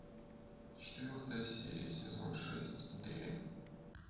четвертая серия сезон шесть дрянь